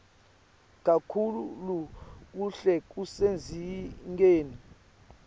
kakhulu kuhle kusezingeni